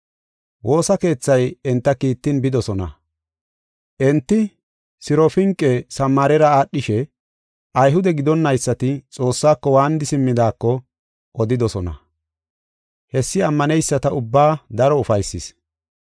Woosa keethay enta kiittin bidosona. Enti Sirofinqe Samaarera aadhishe Ayhude gidonnaysati Xoossako waanidi simmidaako odidosona. Hessi ammaneyisata ubbaa daro ufaysis.